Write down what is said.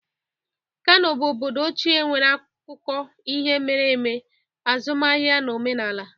Kano bụ obodo ochie nwere akụkọ ihe mere eme, azụmaahịa na omenala.